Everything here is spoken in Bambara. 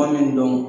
Kuma min dɔn